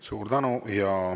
Suur tänu!